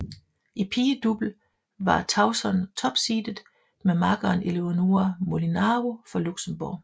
I pigedouble var Tauson topseedet med makkeren Eléonora Molinaro fra Luxembourg